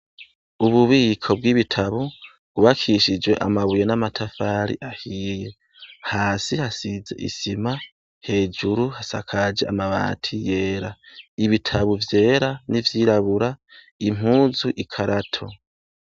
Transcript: Ububiko bw'ibitabo bwubakishije amabuye n'amatafari ahiye. Hasi hasize isima, hejuru hasakaje amabati yera. Ibitabo vyera n'ivyirabura, impuzu, ikarato.